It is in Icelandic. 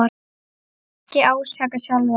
Ekki ásaka sjálfan þig.